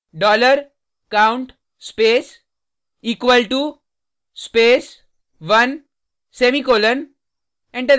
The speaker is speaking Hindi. dollar count space equal to space 1 semicolon enter दबाएँ